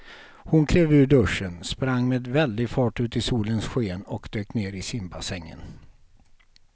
Hon klev ur duschen, sprang med väldig fart ut i solens sken och dök ner i simbassängen.